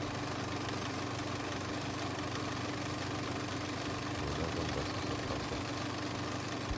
война в донбассе вся правда